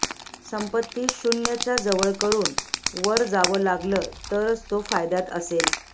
संपत्ती शून्यच्या जवळ करून वर जावं लागलं तरच तो फायद्यात असेल